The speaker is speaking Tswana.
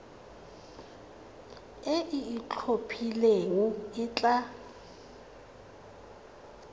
e e itlhophileng e tla